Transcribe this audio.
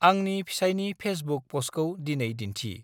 आंनि फेिसाइनि फेसबुक पस्टखौ दिनै दिन्थि।